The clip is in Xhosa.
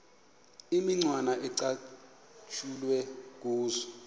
imicwana ecatshulwe kuzo